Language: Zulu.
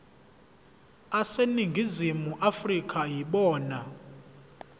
aseningizimu afrika yibona